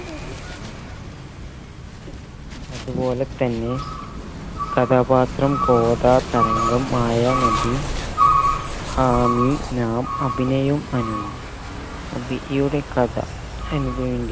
അത് പോലെ തന്നെ കഥാപാത്രം കോദാതരംഗം മയനാദി ആമി നാം അഭിനിയും അനുവും അഭിയുടെ കഥ അനുവിന്റെയും